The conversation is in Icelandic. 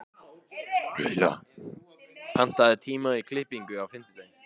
Reyla, pantaðu tíma í klippingu á fimmtudaginn.